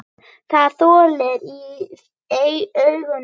Það logar í augum þínum.